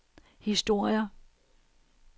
historier